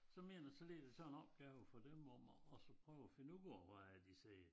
Så mener jeg så ligger der så en opgave for dem om at og så prøve at finde ud af hvad er det de siger